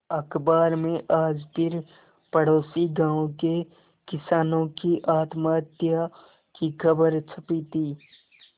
अखबार में आज फिर पड़ोसी गांवों के किसानों की आत्महत्या की खबर छपी थी